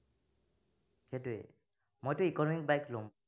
সেইটোৱেই, মইটো economic bike লম।